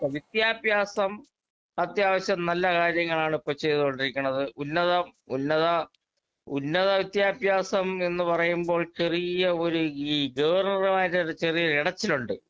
speaker 2 വിദ്യാഭ്യാസം അത്യാവശ്യം നല്ല കാര്യങ്ങളാണ് ഇപ്പൊ ചെയ്തുകൊണ്ടിരിക്കണത് ഉന്നത ഉന്നത ഉന്നത വിദ്യാഭ്യാസം എന്ന് പറയുമ്പോൾ ചെറിയ ഒരു ഈ ഗവർണർമാര് ചെറിയൊരു ഇടച്ചിലുണ്ട്